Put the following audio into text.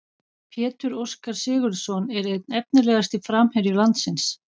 Pétur Óskar Sigurðsson er einn efnilegasti framherji landsins.